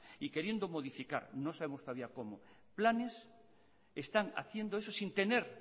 y queriendo modificar no sabemos todavía cómo planes están haciendo eso sin tener